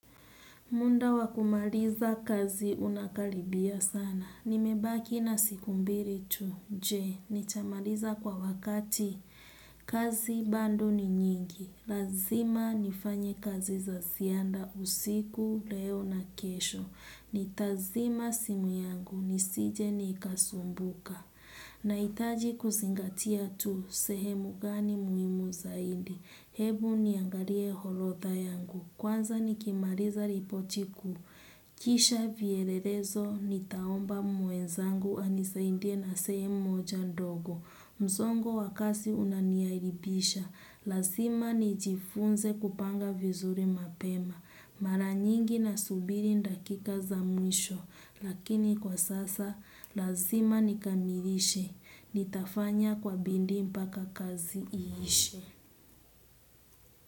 Munda wa kumaliza kazi unakalibia sana. Nimebaki na siku mbiri tu. Je, nitamaliza kwa wakati kazi bando ni nyingi. Lazima nifanye kazi za sianda usiku, leo na kesho. Nitazima simu yangu, nisije nikasumbuka. Naitaji kusingatia tu, sehemu gani muimu zaidi. Hebu niangalie holodha yangu. Kwanza nikimariza ripoti kuu. Kisha vyelelezo, nitaomba mwenzangu anisaindie na sehemu moja ndogo. Msongo wa kasi unaniairibisha. Lazima nijifunze kupanga vizuri mapema. Mara nyingi nasubiri ndakika za mwisho. Lakini kwa sasa, lazima nikamirishe. Nitafanya kwa bindi mpaka kazi iishe.